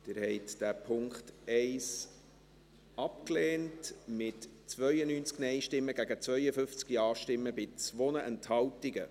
Sie haben den Punkt 1 abgelehnt, mit 92 Nein- gegen 52 Ja-Stimmen bei 2 Enthaltungen.